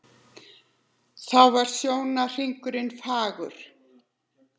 Þá er sjónarhringur fagur.